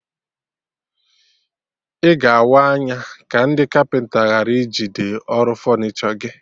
Ị ga awa anya ka ndị kapịnta ghara ijigide ọrụ fọnichọ gị